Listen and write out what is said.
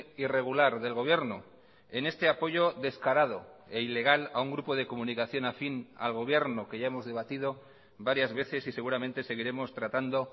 irregular del gobierno en este apoyo descarado e ilegal a un grupo de comunicación afín al gobierno que ya hemos debatido varias veces y seguramente seguiremos tratando